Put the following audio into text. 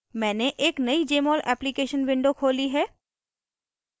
मैंने एक नयी jmol application window खोली है